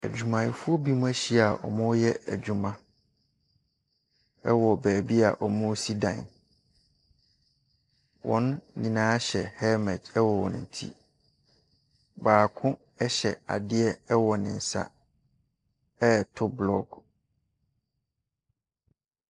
Adwumayɛfoɔ binom ahyia a wɔreyɛ adwuma ɛwɔ beebi wɔresi dan wɔn nyinaa hyɛ helmet ɛwɔ wɔn ti. Baako ɛhyɛ adeɛ ɛwɔ ne nsa ɛreto block.